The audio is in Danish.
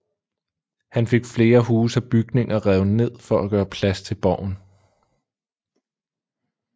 Han fik flere huse og bygninger revet ned for at gøre plads til borgen